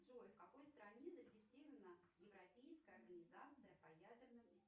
джой в какой стране зарегистрирована европейская организация по ядерным